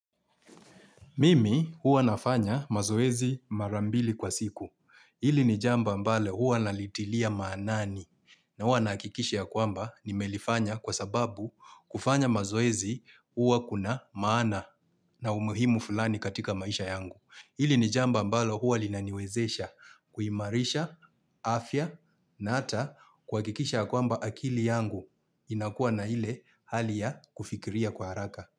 Mimi huwa nafanya mazoezi marambili kwa siku. Hili ni jambo ambalo huwa nalitilia maanani na huwa nahakikisha ya kwamba nimelifanya kwa sababu kufanya mazoezi huwa kuna maana na umuhimu fulani katika maisha yangu. Hili ni jambo ambalo huwa linaniwezesha kuimarisha, afya na ata kuhakikisha ya kwamba akili yangu inakuwa na ile hali ya kufikiria kwa haraka.